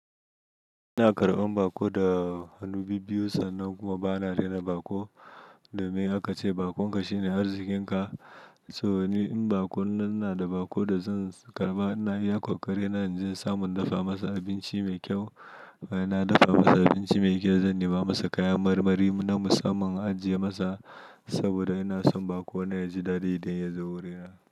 Ina karɓan bako da hannu biyu biyu sannan kuma bana rena bako domin aka ce bakon ka shine arzikin ka. So ni in bako, ina da bako da zan karɓa, ina iya koƙari na in je samun dafa masa abinci mai kyau. Ina dafa masa abinci mai kyau, zan nema masa kaya marmari na musamman ajiye masa saboda ina son bakona yaji dadi idan yazo wurina.